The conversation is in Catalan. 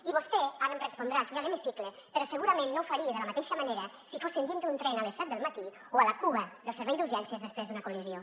i vostè ara em respondrà aquí a l’hemicicle però segurament no ho faria de la mateixa manera si fóssim dintre un tren a les set del matí o a la cua del servei d’urgències després d’una col·lisió